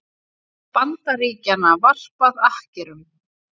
Bandaríkjanna varpað akkerum.